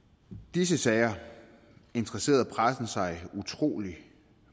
disse sager interesserede pressen sig utrolig